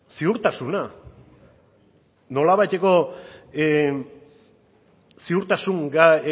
ziurtasuna nolabaiteko ziurtasun